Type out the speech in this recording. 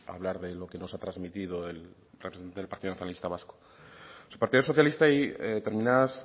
hablar de lo que nos ha transmitido el representante del partido nacionalista vasco el partido socialista y determinadas